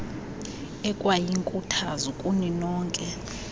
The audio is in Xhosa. ekwayinkuthazo kuni nonke